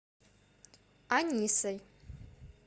анисой